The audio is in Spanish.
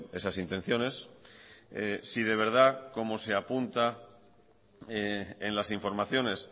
esas intenciones si de verdad como se apunta en las informaciones